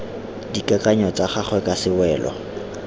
dikakanyo tsa gagwe ka sewelo